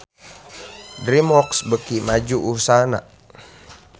DreamWorks beuki maju usahana